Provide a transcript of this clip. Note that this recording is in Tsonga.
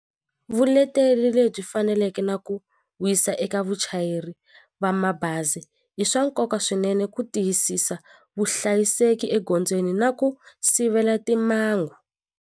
Vuleteri lebyi faneleke na ku wisa eka vuchayeri va mabazi i swa nkoka swinene ku tiyisisa vuhlayiseki egondzweni na ku sivela timangu.